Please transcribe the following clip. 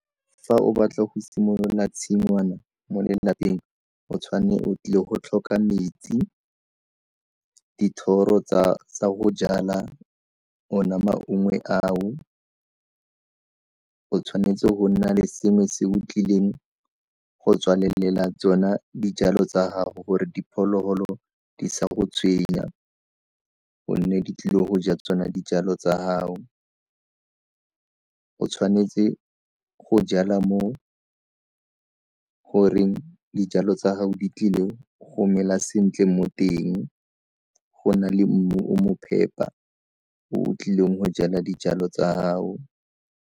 Fa o batla go simolola tshingwana mo lelapeng o tshwanetse o tlile go tlhoka metsi, dithoro tsa go jala ona maungwe ao, o tshwanetse go nna le sengwe se o tlileng go tswalelela tsona dijalo tsa gago gore diphologolo di sa go tshwenya gonne di tlile go ja tsona dijalo tsa gao. O tshwanetse go jala mo goreng dijalo tsa gago di tlile go mela sentle mo teng go na le mmu o mo phepa o o tlileng go jala dijalo tsa gago.